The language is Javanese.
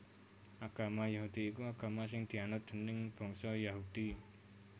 Agama Yahudi iku agama sing dianut déning bangsa Yahudi